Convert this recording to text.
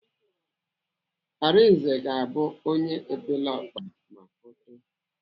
Arinze ga-abụ onye epeleọkpa ma ọ too.